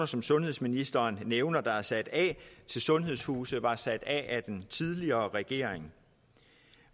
som sundhedsministeren nævner der er sat af til sundhedshuse var sat af af den tidligere regering